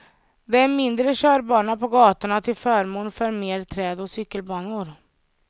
Det är mindre körbana på gatorna till förmån för mer träd och cykelbanor.